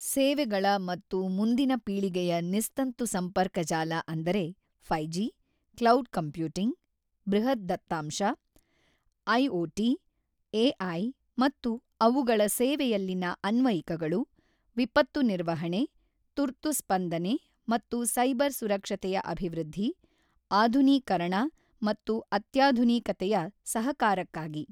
ಸೇವೆಗಳ ಮತ್ತು ಮುಂದಿನ ಪೀಳಿಗೆಯ ನಿಸ್ತಂತು ಸಂಪರ್ಕ ಜಾಲ ಅಂದರೆ 5ಜಿ, ಕ್ಲೌಡ್ ಕಂಪ್ಯೂಟಿಂಗ್, ಬೃಹತ್ ದತ್ತಾಂಶ, ಐಓಟಿ, ಎಐ ಮತ್ತು ಅವುಗಳ ಸೇವೆಯಲ್ಲಿನ ಆನ್ವಯಿಕಗಳು, ವಿಪತ್ತು ನಿರ್ವಹಣೆ, ತುರ್ತು ಸ್ಪಂದನೆ ಮತ್ತು ಸೈಬರ್ ಸುರಕ್ಷತೆಯ ಅಭಿವೃದ್ಧಿ, ಆಧುನೀಕರಣ ಮತ್ತು ಅತ್ಯಾಧುವಿಕತೆಯ ಸಹಕಾರಕ್ಕಾಗಿ.